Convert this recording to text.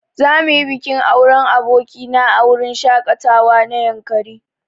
Za muyi bikin auren aboki na a wurin shaƙatawa na yankari.